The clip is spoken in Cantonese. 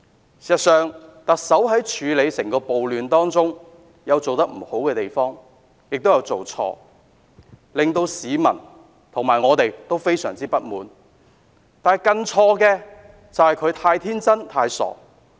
事實上，特首在處理整個暴亂事件方面確有未盡妥善之處，亦難免有犯錯，令市民和我們甚感不滿，但更錯的是，她太天真，亦太傻。